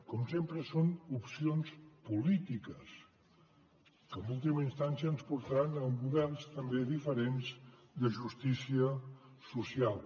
com sempre són opcions polítiques que en última instància ens portaran a models també diferents de justícia social